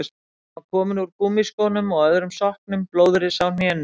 Hann var kominn úr gúmmískónum og öðrum sokknum, blóðrisa á hnénu.